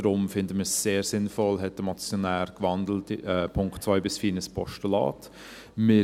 Deshalb finden wir es sehr sinnvoll, hat der Motionär die Punkte 2 bis 4 in ein Postulat gewandelt.